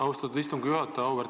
Aitäh, austatud istungi juhataja!